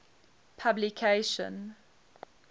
publication